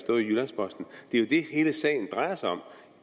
i det sagen drejer sig om